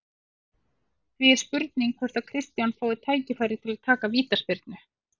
Því er spurning hvort að Kristján fái tækifæri til að taka vítaspyrnu?